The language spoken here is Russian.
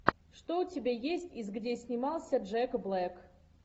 что у тебя есть из где снимался джек блэк